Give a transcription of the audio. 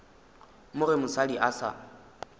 mo ge mosadi a sa